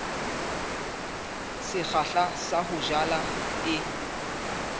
sekgahla sa ho jala e